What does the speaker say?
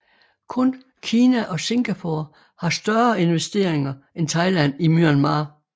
Kun Kina og Singapore har større investeringer end Thailand i Myanmar